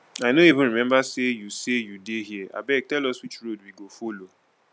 i no even remember say you say you dey here abeg tell us which road we go follow.